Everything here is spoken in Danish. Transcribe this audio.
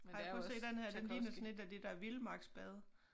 Ej prøv at se denne her den ligner sådan et af de der vildmarksbade